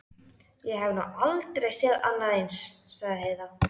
Ég hef nú aldrei séð annað eins, sagði Heiða.